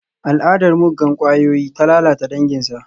Al'adar muggan kwayoyi ta lalata danginsa.